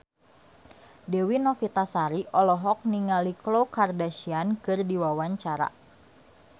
Dewi Novitasari olohok ningali Khloe Kardashian keur diwawancara